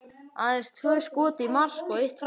Aðeins tvö skot í mark og eitt framhjá.